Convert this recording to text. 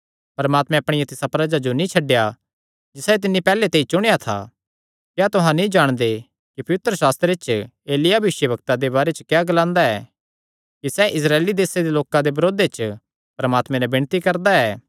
परमात्मैं अपणिया तिसा प्रजा जो नीं छड्डेया जिसायो तिन्नी पैहल्ले ते ई चुणेया था क्या तुहां नीं जाणदे कि पवित्रशास्त्रे च एलिय्याह भविष्यवक्ता दे बारे च क्या ग्लांदा ऐ कि सैह़ इस्राएल दे लोकां दे बरोधे च परमात्मे नैं विणती करदा ऐ